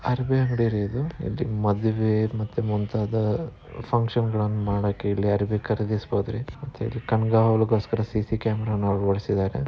ಅರ್ಬೆ ಅಂಗಡಿರಿ ಇದು ಇದ್ ಮದುವೆ ಮತ್ತೆ ಮುಂತಾದ ಅಹ್ ಫಂಕ್ಷನ್ಗ ಳನ್ ಮಾಡಕ್ಕೆ ಇಲ್ಲಿ ಅರ್ಬೆ ಖರೀದಿಸ್ಬೋದ್ರಿ ಮತ್ತೆ ಇಲ್ಲ್ ಕಣ್ಗಾವಲಗೋಸ್ಕರ ಸಿ_ಸಿ ಕ್ಯಾಮೆರಾ ಗಳನ್ನು ಅಳವಡಿಸಿದಾರೆ.